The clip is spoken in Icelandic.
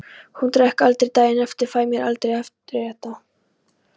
Ég drekk aldrei daginn eftir, fæ mér aldrei afréttara.